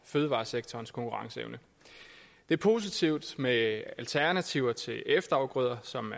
fødevaresektorens konkurrenceevne det er positivt med alternativer til efterafgrøder som